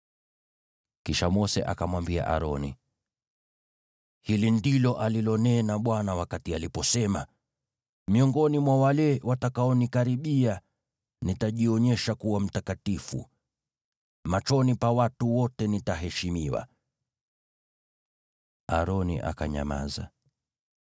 Kisha Mose akamwambia Aroni, “Hili ndilo alilonena Bwana wakati aliposema: “ ‘Miongoni mwa wale watakaonikaribia nitajionyesha kuwa mtakatifu; machoni pa watu wote nitaheshimiwa.’ ” Aroni akanyamaza.